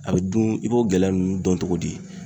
A bɛ dun i b'o gɛlɛya ninnu dɔn cogo di?